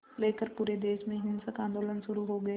लेकर पूरे देश में हिंसक आंदोलन शुरू हो गए